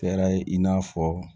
Kɛra i n'a fɔ